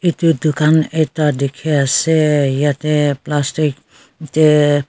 yatey dukan ekta dikhiase yate plastic tae.